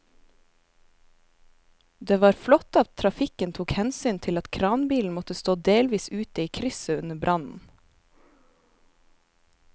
Det var flott at trafikken tok hensyn til at kranbilen måtte stå delvis ute i krysset under brannen.